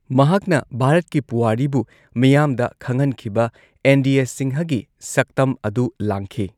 ꯃꯍꯥꯛꯅ ꯚꯥꯔꯠꯀꯤ ꯄꯨꯋꯥꯔꯤꯕꯨ ꯃꯤꯌꯥꯝꯗ ꯈꯪꯍꯟꯈꯤꯕ ꯑꯦꯟꯗꯤꯌꯦ ꯁꯤꯡꯍꯒꯤ ꯁꯛꯇꯝ ꯑꯗꯨ ꯂꯥꯡꯈꯤ꯫